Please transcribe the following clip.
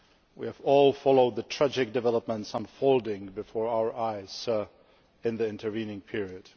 We have all followed the tragic developments unfolding before our eyes in the intervening period.